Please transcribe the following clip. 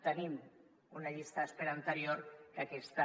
tenim una llista d’espera anterior que aquesta